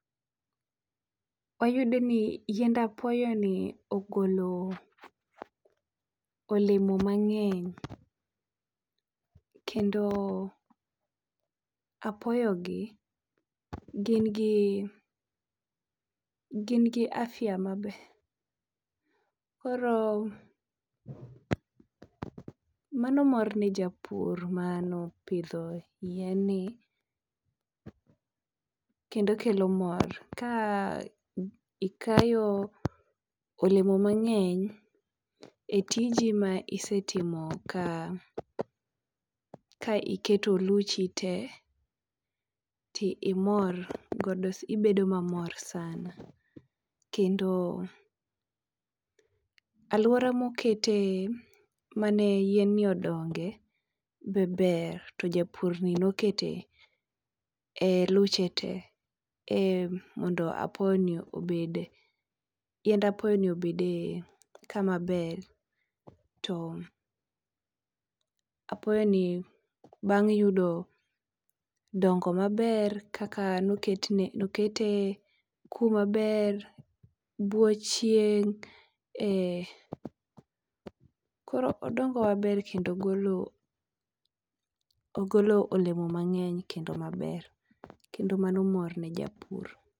Wayudo ni yiend apoyoni ogolo olemo mang'eny kendo apoyogi gin gi gin gi afya maber koro mano mor ne japur mane opidho yien ni kendo kelo mor ka ikayo olemo mang'eny etiji ma isetimo ka ka iketo luchi to imor, ibedo mamor sana. Aluora mokete mane yien ni odonge be ber to japurni nokete eluche te mondo apoyoni obede. Yiend apoyoni obed kama ber. Apoyoni bang' yudo dongo maber kaka nokete kuma ber bwo chieng' koro dongo maber kendo ogolo olemo mang'eny kendo maber kendo mano mor ne japur.